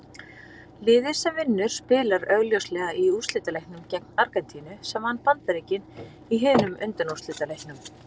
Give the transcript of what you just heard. Liðið sem vinnur spilar augljóslega í úrslitaleiknum gegn Argentínu sem vann Bandaríkin í hinum undanúrslitaleiknum.